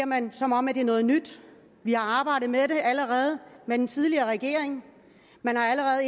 man som om det er noget nyt vi har arbejdet med den allerede med den tidligere regering man har allerede